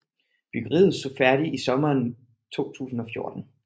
Byggeriet stod færdigt i sommeren 2014